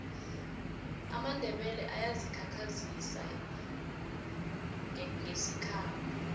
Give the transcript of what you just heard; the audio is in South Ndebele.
amandebele ayazi khakhazisa ngesikhabo